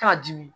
K'a dimi